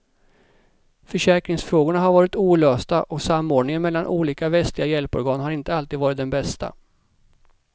Försäkringsfrågorna har varit olösta och samordningen mellan olika västliga hjälporgan har inte alltid varit den bästa.